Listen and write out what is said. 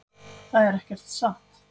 Það er ekkert satt.